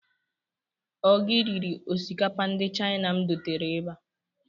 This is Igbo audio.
Ọ gị riri osikapa ndị China m dotere ebe a?